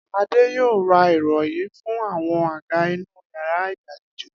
Adé yóò ra ìro̩rí fún àwo̩n àga inú yàrá ìgbàlejò